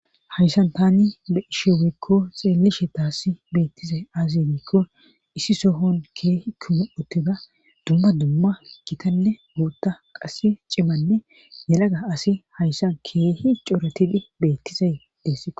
hayssan tani be isheweekko xeellishe taasi beettizay azinikko issi sohon keehi kuma uttida dumma dumma gitanne guutta qasse cimanne nelaga asi hayssan keehi coretidi beettizay dees